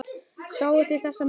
Sáuð þið þessar myndir?